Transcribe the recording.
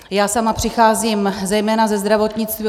Já sama přicházím zejména ze zdravotnictví.